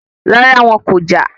Rárá, wọn kọjá